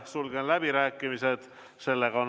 Sulgen läbirääkimised.